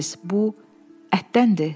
Bu ətdəndir.